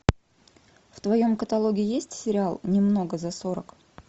в твоем каталоге есть сериал немного за сорок